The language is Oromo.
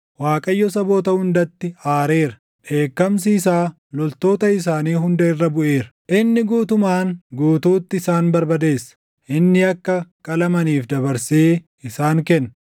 Waaqayyo saboota hundatti aareera; dheekkamsi isaa loltoota isaanii hunda irra buʼeera. Inni guutumaan guutuutti isaan barbadeessa; inni akka qalamaniif dabarsee isaan kenna.